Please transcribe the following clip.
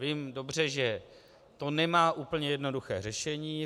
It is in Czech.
Vím dobře, že to nemá úplně jednoduché řešení.